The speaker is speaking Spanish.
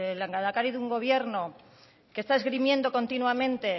el lehendakari de un gobierno que está esgrimiendo continuamente